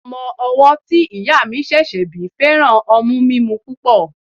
Ọmọ owọ́ tí ìyá mi ṣẹ̀ṣẹ̀ bí fẹ́ràn ọmú mímú púpọ̀.